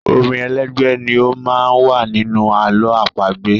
Orin elégbè ni ó má ń wà nínú àlọ́ àpagbè.